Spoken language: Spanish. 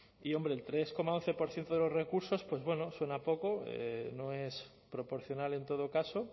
y hombre el tres coma once por ciento de los recursos pues bueno suena poco no es proporcional en todo caso